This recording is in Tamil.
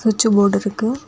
ஸ்விட்ச் போர்டு இருக்கு.